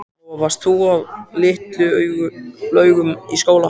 Lóa: Varst þú á Litlu-Laugum í skóla?